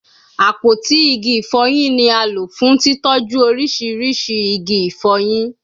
Apoti igi ifoyin ni a lo fun titọju oriṣiriṣi igi ifoyin